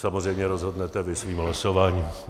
Samozřejmě rozhodnete vy svým hlasováním.